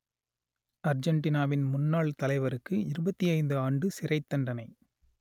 அர்ஜென்டினாவின் முன்னாள் தலைவருக்கு இருபத்தி ஐந்து ஆண்டு சிறைத்தண்டனை